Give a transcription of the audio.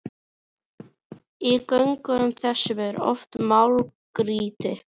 Í göngum þessum er oft málmgrýti.